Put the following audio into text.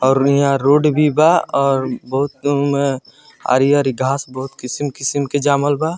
और यहाँ रोड भी बा और बहुत उम हरी-हरी घास बहुत किस्म-किस्म के जामल बा।